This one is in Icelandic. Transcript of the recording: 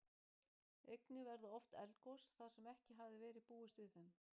Einnig verða oft eldgos, þar sem ekki hafði verið búist við þeim.